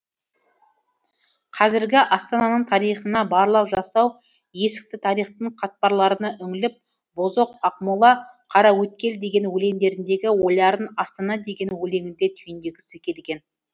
қазіргі астананың тарихына барлау жасау ескі тарихтың қатпарларына үңіліп бозоқ ақмола қараөткел деген өлеңдеріндегі ойларын астана деген өлеңінде түйіндегісі келген